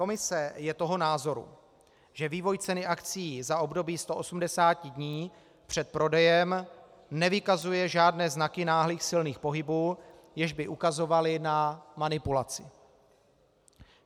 Komise je toho názoru, že vývoj ceny akcií za období 180 dní před prodejem nevykazuje žádné znaky náhlých silných pohybů, jež by ukazovaly na manipulaci.